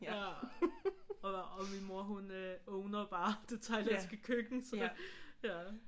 Ja og min mor hun owner bare det Thailandske køkken så det ja